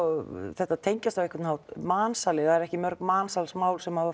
þetta tengjast á einhvern hátt mansali það eru ekki mörg mansalsmál sem hafa